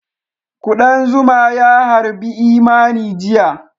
Ƙudan zuma ys harbi Imani jiya